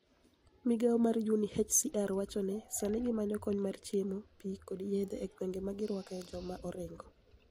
Migao mar UniHCR nowacho nii, sanii gimaniyo koniy mar chiemo, pi, kod yedhe e gwenige ma girwakoe joma orinigo.